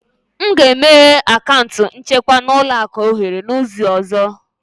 M ga-emeghe akaụntụ nchekwa na ụlọ akụ ohere n'izu ọzọ